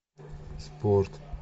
спорт